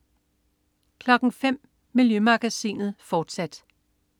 05.00 Miljømagasinet, fortsat